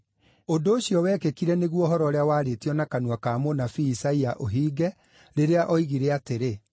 Ũndũ ũcio wekĩkire nĩguo ũhoro ũrĩa waarĩtio na kanua ka mũnabii Isaia ũhinge, rĩrĩa oigire atĩrĩ: